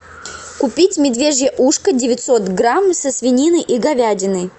купить медвежье ушко девятьсот грамм со свининой и говядиной